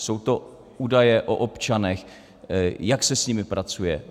Jsou to údaje o občanech - jak se s nimi pracuje?